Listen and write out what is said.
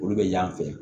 Olu bɛ y'an fɛ